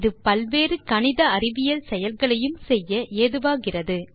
இது பல் வேறு கணித அறிவியல் செயல்களையும் செய்ய ஏதுவாகிறது